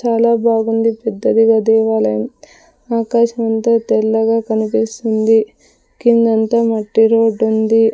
చాలా బాగుంది పెద్దదిగా దేవాలయం ఆకాశం అంతా తెల్లగా కనిపిస్తుంది కిందంతా మట్టి రోడ్డుంది .